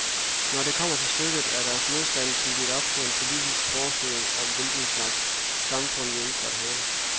Når det kommer til stykket, er deres modstand bygget på en politisk forestilling om, hvilken slags samfund vi ønsker at have.